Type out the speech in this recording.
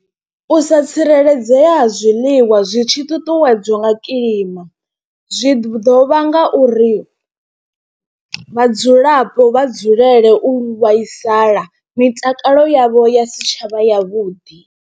U sa tsireledzea ha zwiḽiwa zwi tshi ṱuṱuwedzwa nga kilima zwi ḓo vhanga uri, vhadzulapo vha dzulele u vhaisala mitakalo yavho ya si tshavha yavhuḓi.